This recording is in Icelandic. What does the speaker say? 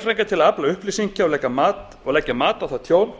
til að afla upplýsinga og leggja mat á það tjón